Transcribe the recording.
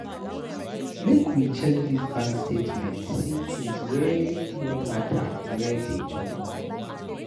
Make we check dis bank statement see tins wey no mata wey dey chop moni.